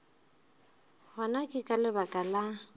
gona ke ka lebaka la